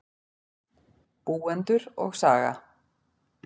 Búendur og saga.